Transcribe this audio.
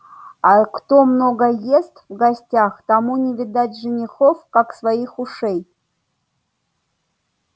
а кто много ест в гостях тому не видать женихов как своих ушей